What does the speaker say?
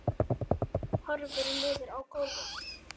Horfir niður á gólfið.